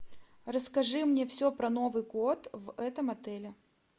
расскажи мне все про новый год в этом отеле